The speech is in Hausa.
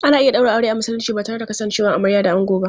Ana iya ɗaura aure a Musulunci ba tare da kasancewar amarya da ango ba.